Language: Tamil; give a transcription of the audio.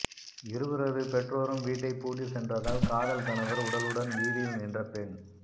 இருவரது பெற்றோரும் வீட்டை பூட்டி சென்றதால் காதல் கணவர் உடலுடன் வீதியில் நின்ற பெண்